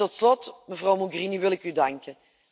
Tot slot, mevrouw Mogherini, wil ik u danken.